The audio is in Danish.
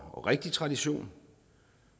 og rigtig tradition